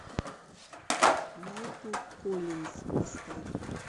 майкл коллинз поставь